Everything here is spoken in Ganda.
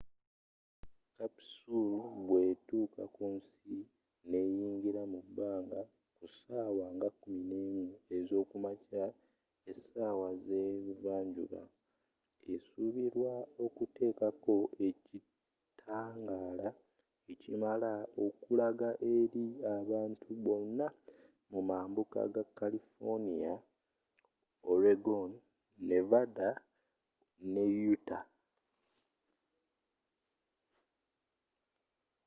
capsule bwe tuuka kunsi neyingira mu bbanga ku sawa nga 11 ezokumakya esawa ze buva njuba esubirwa okutekako ekitangaala ekimala okulaga eri abantu bonna mu mambuuka ga kalifoniya oregon nevanda ne utah